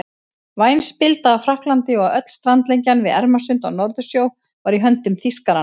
Væn spilda af Frakklandi og öll strandlengjan við Ermarsund og Norðursjó var í höndum Þýskaranna.